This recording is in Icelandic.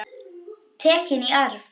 Tekin í arf.